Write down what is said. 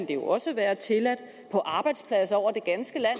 jo også være tilladt på arbejdspladser over det ganske land